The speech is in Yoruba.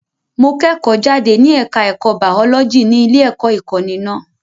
Mo kẹ́kọ̀ọ́ jáde ní ẹ̀ka ẹ̀kọ́ baọ́lọ́jì ní ilé-ẹ̀kọ́ ìkọ́ni náà.